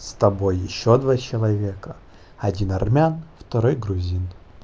с тобой ещё два человека один армян второй грузин